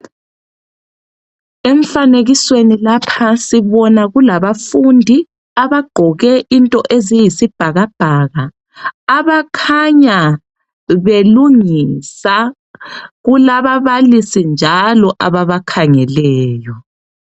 Emfanekisweni lapha sibona kulabafundi abagqoke izinto eziyisibhakabhaka abakhanya belungisa. Kulababalisi njalo ababakhangeleyo.